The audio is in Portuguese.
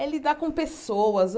É lidar com pessoas.